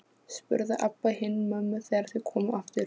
spurði Abba hin mömmu þegar þau komu aftur.